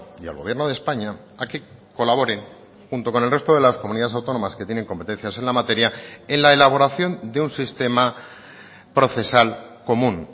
y al gobierno de españa a que colaboren junto con el resto de las comunidades autónomas que tienen competencias en la materia en la elaboración de un sistema procesal común